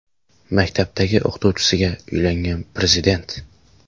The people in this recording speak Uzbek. Maktabdagi o‘qituvchisiga uylangan prezident.